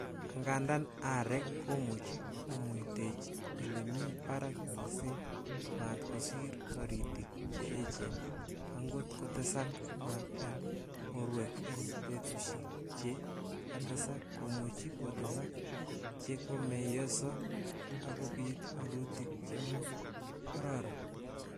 Angandan areek komuche komuitechi ele mi barak missing maat kosiir toritik che echen, angot kotesak maat en borwek en betusiek che katesak komuche kotesak che komeyoso ak kobit woluutik chemo kororon.